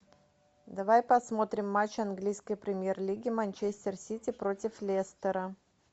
давай посмотрим матч английской премьер лиги манчестер сити против лестера